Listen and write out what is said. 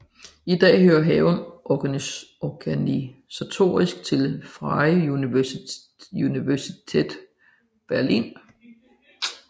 I dag hører haven organisatorisk til Freie Universität Berlin